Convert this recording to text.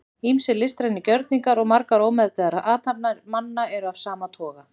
ýmsir listrænir gjörningar og margar ómeðvitaðar athafnir manna eru af sama toga